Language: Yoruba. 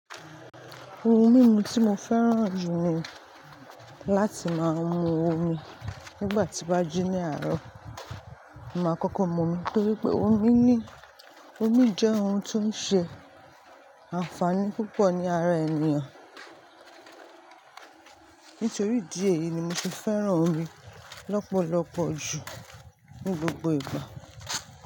Ohun mímu tí mo fẹ́ràn jù ni láti máa mu omi nígbà tí bá ji ní àárọ̀. Ma kọ́kọ́ mu omi nítorí pé omi ni, omi jẹ́ ohun tó ń ṣe àǹfààní púpọ̀ ní ara ènìyàn. Nítorí idíẹ̀ yìí ni mo ti fẹ́ràn omi lọ́pọ̀lọpọ̀ jù ní gbogbo ìgbà.